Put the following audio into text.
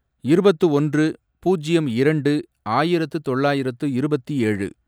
இருபத்து ஒன்று, பூஜ்யம் இரண்டு, ஆயிரத்து தொள்ளாயிரத்து இருபத்தி ஏழு